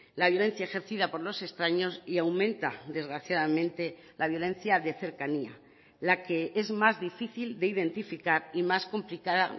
la violencia ejercida por los extraños y aumenta desgraciadamente la violencia de cercanía la que es más difícil de identificar y más complicada